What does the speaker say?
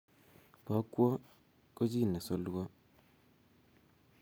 bokwo ko chi ne solwo